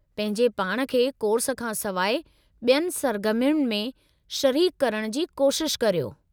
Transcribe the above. पंहिंजे पाण खे कोर्स खां सवाइ ॿियनि सरगर्मियुनि में शरीकु करण जी कोशिश करियो।